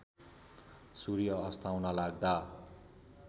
सूर्य अस्ताउन लाग्दा